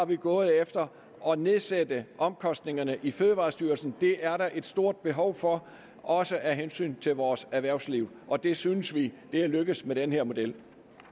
vi gået efter at nedsætte omkostningerne i fødevarestyrelsen der er der et stort behov for også af hensyn til vores erhvervsliv og det synes vi er lykkedes med den her model